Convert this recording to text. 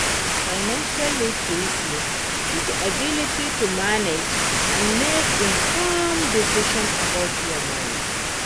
financial literacy be di ability to manage and make informed decisions about your money.